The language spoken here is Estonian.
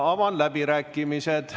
Avan läbirääkimised.